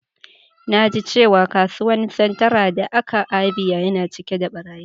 Na ji cewa kasuwan Centra da ka Abia yana cike da barayi.